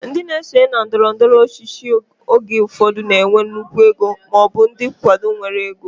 Ndị na-esonye na ndọrọndọrọ ọchịchị oge ụfọdụ na-enwe nnukwu ego maọbụ ndị nkwado nwere ego